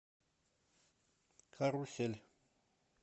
карусель